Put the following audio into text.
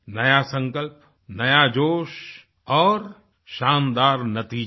नया संकल्प नया जोश और शानदार नतीजे